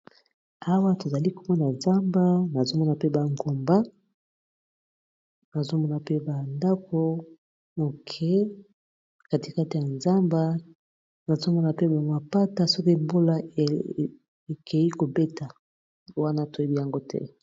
awa tozali komona nzamba nazomona pe ba ngomba nazomona mpe bandako moke katikate ya nzamba nazomona mpe ba mapata soki mbola ekeyi kobeta wana toyebi yango te!